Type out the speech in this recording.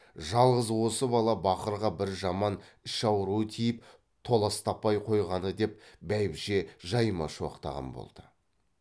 жалғыз осы бала бақырға бір жаман іш ауру тиіп толас таппай қойғаны деп бәйбіше жайма шуақтаған болды